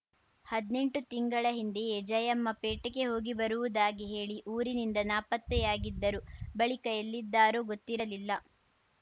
ಹದ್ನೆಂಟು ತಿಂಗಳ ಹಿಂದೆಯೇ ಜಯಮ್ಮ ಪೇಟೆಗೆ ಹೋಗಿಬರುವುದಾಗಿ ಹೇಳಿ ಊರಿನಿಂದ ನಾಪತ್ತೆಯಾಗಿದ್ದರು ಬಳಿಕ ಎಲ್ಲಿದ್ದಾರೋ ಗೊತ್ತಿರಲಿಲ್ಲ